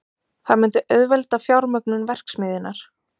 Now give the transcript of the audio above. Það myndi auðvelda fjármögnun verksmiðjunnar